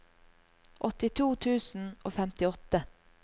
åttito tusen og femtiåtte